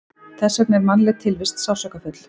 Þess vegna er mannleg tilvist sársaukafull.